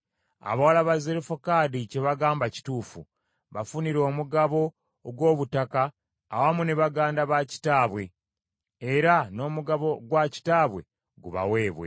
“Abawala ba Zerofekadi kye bagamba kituufu; bafunire omugabo ogw’obutaka awamu ne baganda ba kitaabwe, era n’omugabo gwa kitaabwe gubaweebwe.